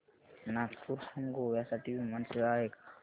नागपूर हून गोव्या साठी विमान सेवा आहे का